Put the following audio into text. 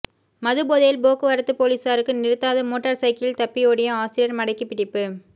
மதுபோதையில் போக்குவரத்து பொலிசாருக்கு நிறுத்தாது மோட்டர் சைக்கிளில் தப்பியோடிய ஆசிரியர் மடக்கிப் பிடிப்பு